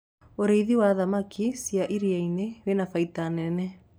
ũrĩithi wa thamakĩ cia iria-inĩ wina baida nene